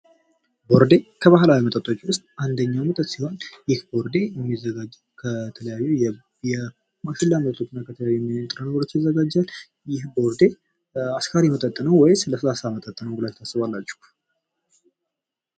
ቦርዴ ከባህላዊ መጠጦች ውስጥ አንደኛው መጠጥ ሲሆን ይህ ቦርዴ የሚዘጋጀው ከተለያዩ ማሽላ ምርቶች እና ከተለያዩ ንጥረ ነገሮች ይዘጋጃል። ይህ ቦርዴ አስካሪ መጠጥ ነው ወይስ ለስላሳ መጠጥ ነው ብላችሁ ታስባላችሁ?